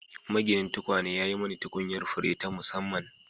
Maginin tukwane ya yi mani tukunyar fure ta musamman